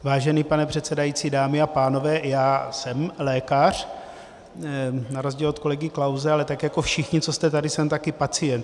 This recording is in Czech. Vážený pane předsedající, dámy a pánové, já jsem lékař na rozdíl od kolegy Klause, ale tak jako všichni, co jste tady, jsem taky pacient.